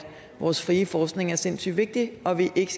vores frie forskning er sindssyg vigtig og at vi ikke